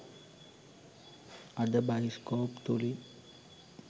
අද බයිස්කෝප් තුලින්